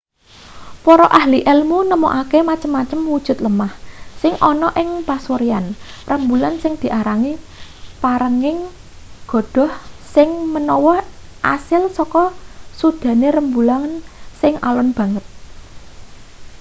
para ahli elmu nemokake macem-macem wujud lemah sing ana ing pasuryan rembulan sing diarani perenging godhoh sing menawa asil saka sudane rembulan sing alon banget